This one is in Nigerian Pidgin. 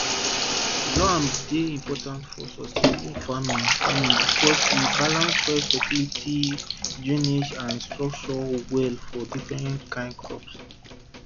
loam dey important for sustainable farming farming because e balance soil fertility drainage and structure well for different kain crops